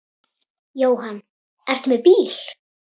Jóhann: Ertu með bíl?